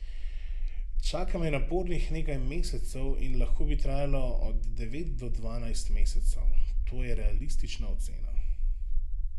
Čaka me napornih nekaj mesecev in lahko bi trajalo od devet do dvanajst mesecev, to je realistična ocena.